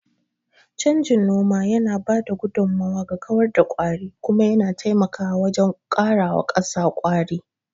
Canjin noma yana ba da gudummawa ga kawar da kwari, kuma yana taimakawa wajen karawa ƙasa ƙwari.